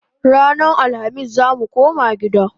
Ranan Alhamis zamu koma gida